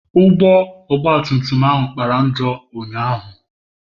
Ụgbọ ogba tum tum ahụ kpara njọ ụnyahụ.